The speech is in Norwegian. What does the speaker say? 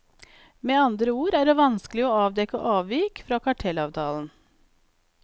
Med andre ord er det vanskelig å avdekke avvik fra kartellavtalen.